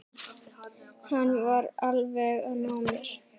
Hann var alveg að ná mér